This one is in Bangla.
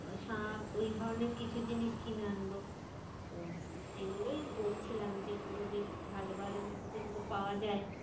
শাঁখ ওই ধরণের কিছু জিনিস কিনে আনবো। সেগুলোই বলছিলাম যে ওগুলো বেশ ভালো ভালো যেগুলো পাওয়া যায়।